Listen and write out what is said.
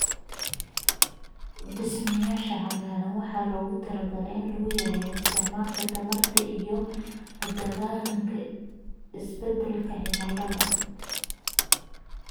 Dhismayaasha cagaaran waxaa loogu talagalay in lagu yareeyo isticmaalka tamarta iyo la dagaallanka isbedelka cimilada.